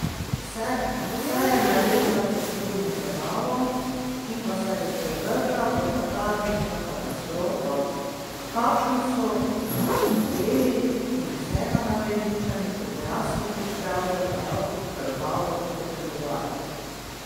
Vse je nared za poslednjo zabavo, ki pa se bo sprevrgla v katarzično katastrofo, kakršno so otopeli in vsega naveličani odrasli pravzaprav krvavo potrebovali!